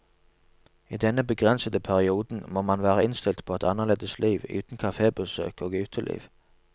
I denne begrensede perioden må man være innstilt på et annerledes liv, uten kafébesøk og uteliv.